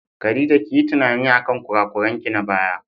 Khadija kiyi tunani akan kurakuranki na baya.